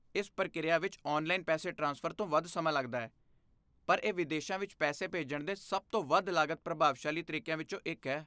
ਇਸ ਪ੍ਰਕਿਰਿਆ ਵਿੱਚ ਔਨਲਾਈਨ ਪੈਸੇ ਟ੍ਰਾਂਸਫਰ ਤੋਂ ਵੱਧ ਸਮਾਂ ਲੱਗਦਾ ਹੈ, ਪਰ ਇਹ ਵਿਦੇਸਾਂ ਵਿੱਚ ਪੈਸੇ ਭੇਜਣ ਦੇ ਸਭ ਤੋਂ ਵੱਧ ਲਾਗਤ ਪ੍ਰਭਾਵਸ਼ਾਲੀ ਤਰੀਕਿਆਂ ਵਿੱਚੋਂ ਇੱਕ ਹੈ